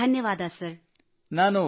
ಧನ್ಯವಾದ sir thank you sir